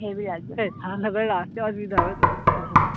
হেই ঠান্ডা করলে আসতে অসুবিধা হবে তো